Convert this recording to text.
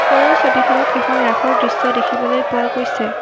ওপৰৰ ছবিখনত এখন ৰাসৰ দৃশ্য দেখিবলৈ পোৱা গৈছে।